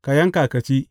Ka yanka ka ci.